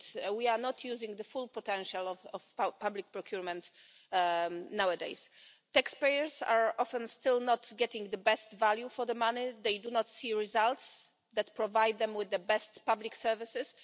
We are not using the full potential of public procurement at the moment. Taxpayers are often still not getting the best value for money and do not see results that provide them with the best public services.